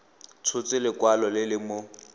tshotse lekwalo le le mo